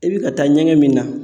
E bi ka taa ɲɛgɛn min na